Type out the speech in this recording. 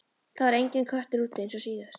Það var enginn köttur úti eins og síðast.